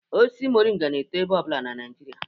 Osisi Moringa na-eto ebe ọbụla na Naijiria